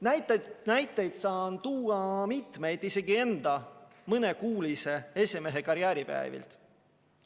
Näiteid saan tuua mitmeid isegi enda mõnekuulise esimehekarjääri päevilt.